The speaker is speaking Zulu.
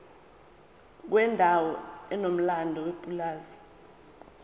kwendawo enomlando yepulazi